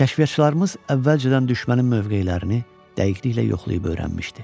Kəşfiyyatçılarımız əvvəlcədən düşmənin mövqelərini dəqiqliklə yoxlayıb öyrənmişdi.